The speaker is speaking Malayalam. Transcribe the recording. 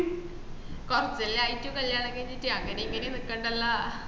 കൊറച്ചല്ലേ ആയിട്ടു കല്യാണം കഴിഞ്ഞിട്ട് അങ്ങനെ ഇങ്ങനെ നിക്കണ്ടല്ലോ